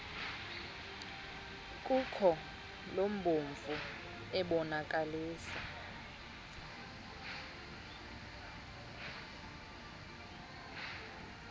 khuko lubomvu ebonakalisa